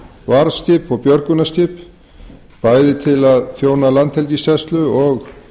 varðskip og björgunarskip bæði til að þjóna landhelgisgæslu og